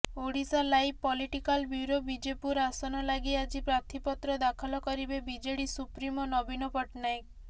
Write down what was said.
Odisha live political bureau Bijepur ଆସନ ଲାଗି ଆଜି ପ୍ରାର୍ଥିପତ୍ର ଦାଖଲ କରିବେ ବିଜେଡି ସୁପ୍ରିମୋ ନବୀନ ପଟ୍ଟନାୟକ